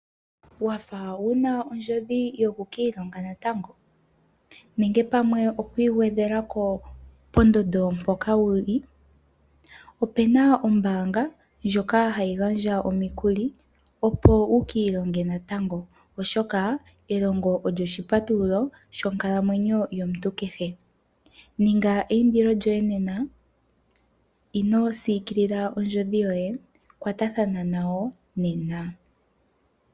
Wa fa wu na ondjodhi yokukiilonga natango nenge pamwe oku igwedhela ko pondondo mpoka wu li? Opu na ombaanga ndjoka hayi gandja omikuli opo wu ka ilonge natango, oshoka elongo olyo oshipatululo shonkalamwenyo yomuntu kehe. Ninga eindilo lyoye nena, ino siikilila ondjodhi yoye kwatathana nayo nena.